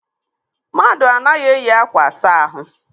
Mmadụ anaghị eyi ákwà asa ahụ.